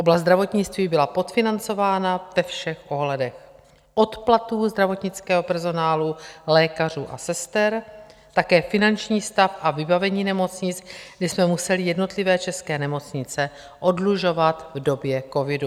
Oblast zdravotnictví byla podfinancovaná ve všech ohledech, od platů zdravotnického personálu, lékařů a sester, také finanční stav a vybavení nemocnic, kdy jsme museli jednotlivé české nemocnice oddlužovat v době covidu.